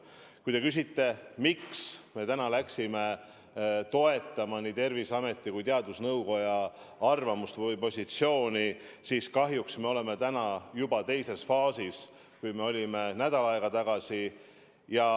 Kui te küsite, miks me täna toetame nii Terviseameti kui ka teadusnõukoja arvamust või positsiooni, siis kahjuks me oleme juba teistsuguses faasis kui nädal aega tagasi.